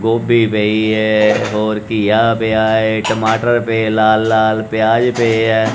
ਗੋਭੀ ਪਈ ਏ ਔਰ ਘੀਆ ਪਿਆ ਏ ਟਮਾਟਰ ਪਏ ਲਾਲ-ਲਾਲ ਪਿਆਜ ਪਏ ਏ।